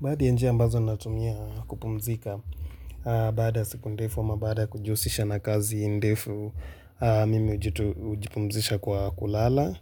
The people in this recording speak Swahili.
Baadhi njia ambazo natumia kupumzika baada ya siku ndefu ama baada ya kujihusisha na kazi ndefu mimi ujipumzisha kwa kulala